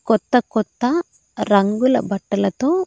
కొత్త కొత్త రంగుల బట్టలతో.